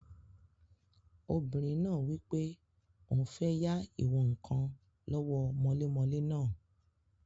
Obìnrin náà wí pé òun fẹ́ yá ìwọ̀n-ǹkan lọ́wọ́ mọlémọlẹ́ náà